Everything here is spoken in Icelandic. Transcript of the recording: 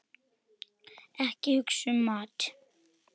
Ekki hugsa um mat!